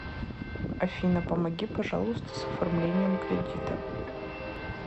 афина помоги пожалуйста с оформлением кредита